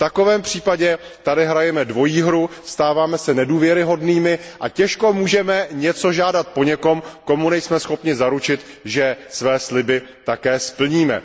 V takovém případě tady hrajeme dvojí hru, stáváme se nedůvěryhodnými a těžko můžeme něco žádat po někom, komu nejsme schopni zaručit, že své sliby také splníme.